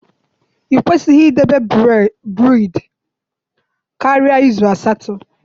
I kwesịghị idebe braids karịa izu asatọ.